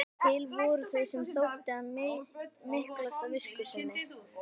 Til voru þeir sem þótti hann miklast af visku sinni.